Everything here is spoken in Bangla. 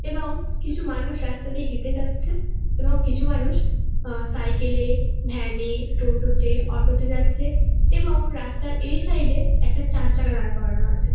এবং কিছু মানুষ রাস্তা দিয়ে হেঁটে যাচ্ছে এবং কিছু মানুষ আ সাইকেল -এ ভ্যান -এ টোটোতে অটো -তে যাচ্ছে এবং রাস্তার এই সাইড -এ একটা চারচাকা দাঁড় করানো আছে।